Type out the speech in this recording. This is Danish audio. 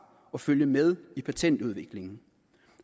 og følge med i patentudviklingen